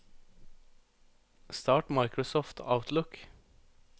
start Microsoft Outlook